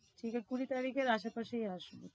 সেটা কুঁড়ি তারিখের আশেপাশেই আসবে।